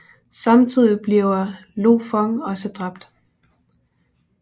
Samtidig bliver Lo Fong også dræbt